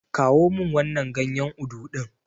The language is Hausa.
Kawo min wannan ganyen Udu ɗin.